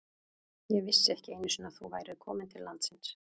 Ég vissi ekki einu sinni að þú værir komin til landsins.